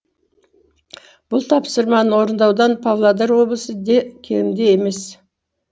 бұл тапсырманы орындаудан павлодар облысы де кенде емес